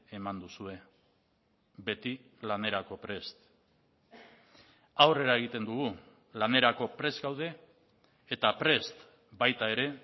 eman duzue beti lanerako prest aurrera egiten dugu lanerako prest gaude eta prest baita ere